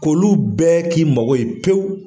K'olu bɛɛ k'i mago ye pewu